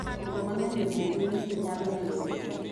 koko mangeny jabuogo gwen to nyalo negogi